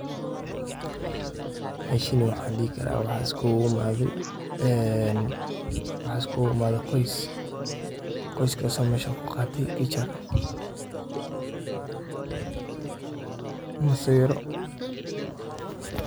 Meeshani waxaan dihi karaa waxaa iskuguimaadhey qoys. qorskasi oo meshan kuqaatey picture ama sawiro.